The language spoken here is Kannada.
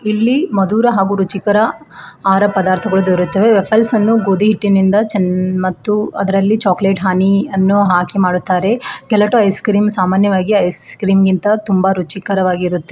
ಇಲ್ಲಿ ಮಧುರ ಹಾಗು ರುಚಿಕರ ಆಹಾರ ಪದಾರ್ಥಗಳು ದೊರೆಯುತ್ತವೆ ವಾಫಲ್ಸ್ ಗೋಧಿ ಹಿಟ್ಟಿನಿಂದ ಚೆನ್ನ ಮತ್ತು ಅದರಲ್ಲಿ ಚಾಕಲೇಟ್ ಹಾನಿ ಅನ್ನು ಹಾಕಿ ಮಾಡುತ್ತಾರೆ ಗೆಲಾಟೋ ಐಸ್ ಕ್ರೀಮ್ ಸಾಮಾನ್ಯವಾಗಿ ಐಸ್ ಕ್ರೀಮ್ ಗಿಂತಾ ತುಂಬ ರುಚಿಕರವಾಗಿರುತ್ತೆ.